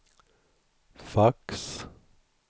fax